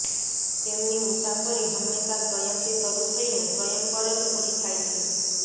તેમની મુસાફરી હંમેશા સ્વયંથી શરૂ થઈને સ્વયં પર જ પૂરી થાય છે